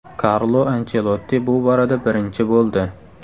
Karlo Anchelotti bu borada birinchi bo‘ldi.